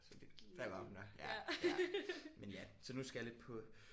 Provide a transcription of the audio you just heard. Så det der var hun der ja ja. Men ja. Så nu skal jeg lidt på